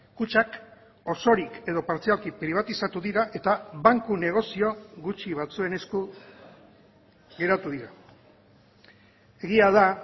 kutxak osorik edo partzialki pribatizatu dira eta banku negozio gutxi batzuen esku geratu dira egia da